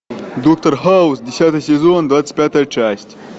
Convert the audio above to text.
доктор хаус десятый сезон двадцать пятая часть